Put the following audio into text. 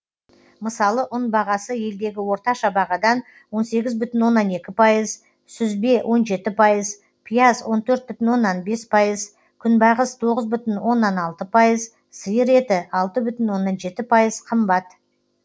мысалы ұн бағасы елдегі орташа бағадан он сегіз бүтін оннан екі пайыз сүзбе он жеті пайыз пияз он төрт бүтін оннан бес пайыз күнбағыс тоғыз бүтін оннан алты пайыз сиыр еті алдты бүтін оннан жеті пайыз қымбат